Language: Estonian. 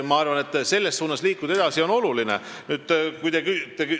Ma arvan, et selles suunas tuleb edasi liikuda.